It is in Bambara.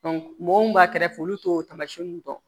mɔgɔw mun b'a kɛrɛfɛ olu t'o taamasiyɛnw dɔn